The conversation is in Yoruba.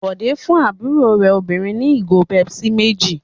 Bọ̀dé fún àbúrò rẹ̀ obìnrin ní ìgò Pepsi méjì.